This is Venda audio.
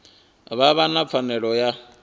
vha vha na pfanelo ya